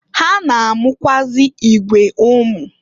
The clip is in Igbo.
Ha na-amụkwụazị igwe ụmụ.